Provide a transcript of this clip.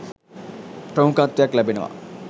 ප්‍රමුඛත්වයක් ලැබෙනවා